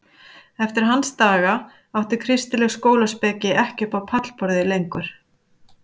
Eftir hans daga átti kristileg skólaspeki ekki upp á pallborðið lengur.